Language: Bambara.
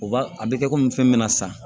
U b'a a bɛ kɛ komi fɛn min bɛ na san